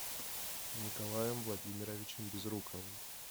николаем владимировичем безруковым